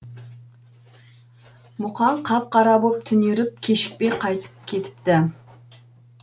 мұқаң қап қара боп түнеріп кешікпей қайтып кетіпті